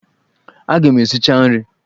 Aga m esicha nri!